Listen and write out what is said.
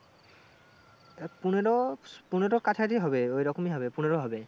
আহ পনেরো, পনেরো কাছাকাছি হবে ওইরকমই হবে পনেরো হবে।